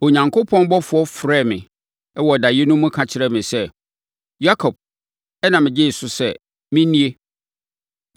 Onyankopɔn ɔbɔfoɔ frɛɛ me wɔ daeɛ no mu ka kyerɛɛ me sɛ, ‘Yakob!’ Ɛnna megyee so sɛ, ‘Me nie!’